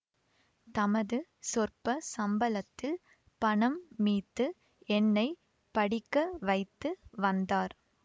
தமது சொற்ப சம்பளத்தில் பணம் மீத்து என்னை படிக்க வைத்து வந்தார்